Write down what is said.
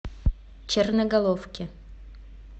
черноголовки